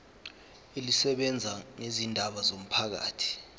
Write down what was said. elisebenza ngezindaba zomphakathi